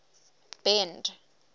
bend